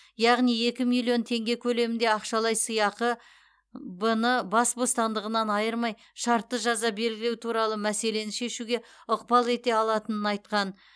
яғни екі миллион теңге көлемінде ақшалай сыйақыға б ны бас бостандығынан айырмай шартты жаза белгілеу туралы мәселені шешуге ықпал ете алатынын айтқан